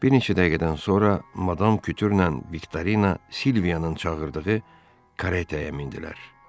Bir neçə dəqiqədən sonra Madam Kütürlə Viktorina Silvianın çağırdığı karetə mindilər.